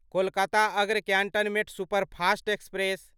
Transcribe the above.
कोलकाता अग्र cantonment superfast express